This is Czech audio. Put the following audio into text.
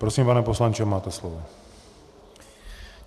Prosím, pane poslanče, máte slovo.